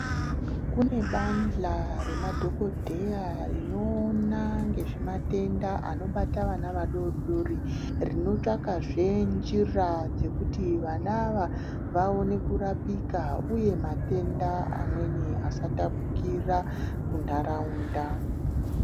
Kune bandla remadhokodheya rinoona ngezvematenda anobata vana adoodori. Rinotsvakazve njira dzokuti vana ava vaone kurapika uye matenda amweni asatapukira kuntharaunda.